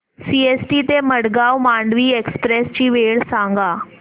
CST ते Madgaon Mandovi express ची वेळ सांगा